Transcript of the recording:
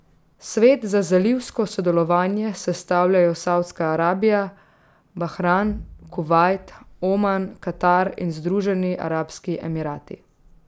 Svet za zalivsko sodelovanje sestavljajo Savdska Arabija, Bahrajn, Kuvajt, Oman, Katar in Združeni arabski emirati.